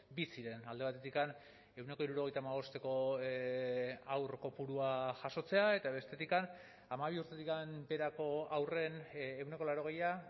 bi ziren alde batetik ehuneko hirurogeita hamabosteko haur kopurua jasotzea eta bestetik hamabi urtetik beherako haurren ehuneko laurogeia